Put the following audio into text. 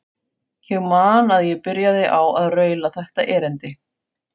Ég man að ég byrjaði á að raula þetta erindi: